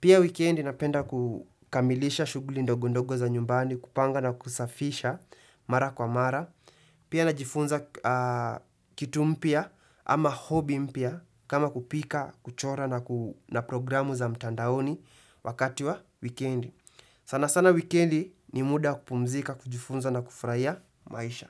Pia wikendi napenda kukamilisha shughuli ndogondogo za nyumbani, kupanga na kusafisha mara kwa mara. Pia najifunza kitu mpya ama hobby mpya kama kupika, kuchora na programu za mtandaoni wakati wa wikendi. Sana sana wikendi ni muda kupumzika, kujifunza na kufurahia maisha.